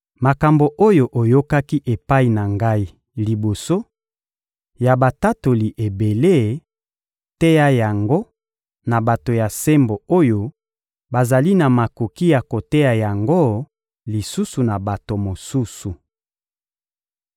Makambo oyo oyokaki epai na ngai liboso ya batatoli ebele, teya yango na bato ya sembo oyo bazali na makoki ya koteya yango lisusu na bato mosusu.